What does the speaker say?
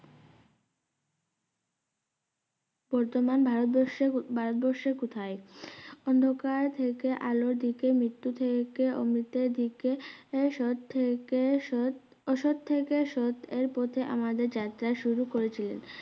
বর্তমান ভারতবর্ষে ভারতবর্ষের কোথায় অন্ধকার থেকে আলোরদিতে মৃত্যু থেকে অমৃতের দিকে এ সৎ থেকে সৎ অসৎ থেকে সৎ এর পথে আমাদের যাত্রা শুরু করেছিলেন